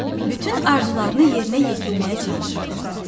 Bütün arzularını yerinə yetirməyə çalışırdılar.